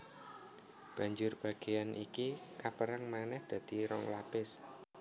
Banjur bagéan iki kapérang manèh dadi rong lapis